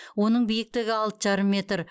оның биіктігі алты жарым метр